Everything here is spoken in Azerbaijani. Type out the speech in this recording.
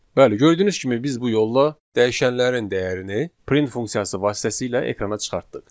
Bəli, gördüyünüz kimi biz bu yolla dəyişənlərin dəyərini print funksiyası vasitəsilə ekrana çıxartdıq.